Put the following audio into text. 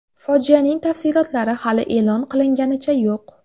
Fojianing tafsilotlari hali e’lon qilinganicha yo‘q.